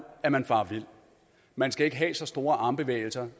at man farer vild man skal ikke have så store armbevægelser